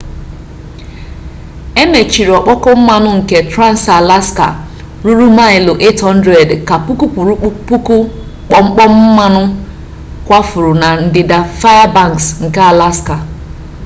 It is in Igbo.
emechiri ọkpọkọ mmanụ nke trans-alaska ruru maịlụ 800 ka puku kwuru puku gbọmgbọm mmanụ kwafuru na ndịda fairbanks nke alaska